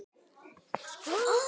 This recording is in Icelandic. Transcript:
Bjarni: Já, næsta dag.